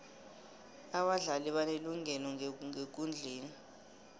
abadlali banelungelo ngekundleni